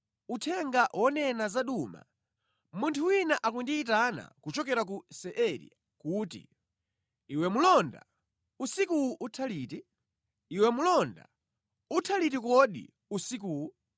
Uthenga wonena za Duma: Munthu wina akundiyitana kuchokera ku Seiri kuti, “Iwe mlonda, usikuwu utha liti? Iwe mlonda, utha liti kodi usikuwu?”